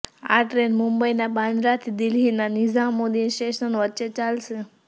આ ટ્રેન મુંબઈના બાંદ્રાથી દિલ્હીના નિઝામુદ્દીન સ્ટેશન વચ્ચે ચાલશે